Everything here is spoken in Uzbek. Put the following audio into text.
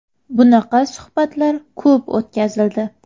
Bunaqa suhbatlar ko‘p o‘tkazildi.